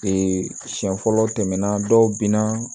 siɲɛ fɔlɔ tɛmɛna dɔw bina